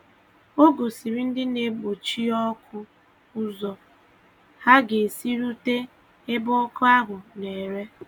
Ọ gòsìrì ndị na-egbochi ọkụ ụzọ ha ga-esi rute ebe ọkụ ahụ̀ na-ere.